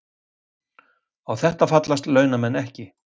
Á þetta fallist launamenn ekki